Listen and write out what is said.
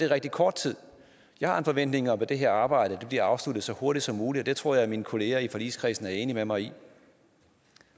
rigtig kort tid jeg har en forventning om at det her arbejde bliver afsluttet så hurtigt som muligt og det tror jeg at mine kolleger i forligskredsen er enige med mig i